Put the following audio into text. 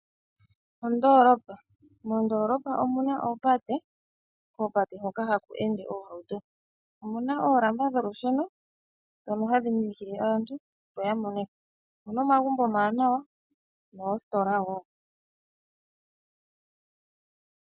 Ondoolopa. Moondoolopa omu na oopate, koopate hoka haku ende oohauto. Omuna oolamba dholusheno ndhono hadhi minikile aantu opo ya mone ko. Omuna omagumbo omawanawa noositola wo.